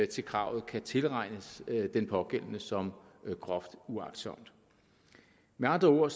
til kravet kan tilregnes den pågældende som groft uagtsomt med andre ord